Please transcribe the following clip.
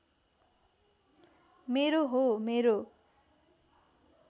मेरो हो मेरो